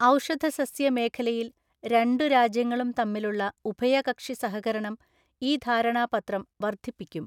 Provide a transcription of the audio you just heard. ഔഷധസസ്യ മേഖലയില്‍ രണ്ടു രാജ്യങ്ങളും തമ്മിലുള്ള ഉഭയകക്ഷി സഹകരണം ഈ ധാരണാപത്രം വർധിപ്പിക്കും.